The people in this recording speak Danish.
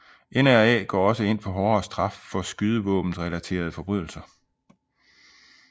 NRA går også ind for hårdere straf for skydevåbenrelaterede forbrydelser